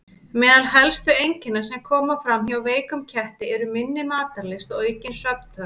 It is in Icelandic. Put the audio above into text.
Meðal helstu einkenna sem koma fram hjá veikum ketti eru minni matarlyst og aukin svefnþörf.